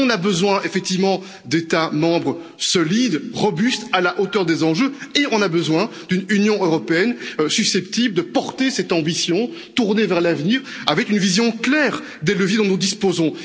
Nous avons besoin, effectivement, d'États membres solides, robustes, à la hauteur des enjeux et nous avons besoin d'une Union européenne susceptible de porter cette ambition, tournée vers l'avenir, avec une vision claire des leviers dont nous disposons.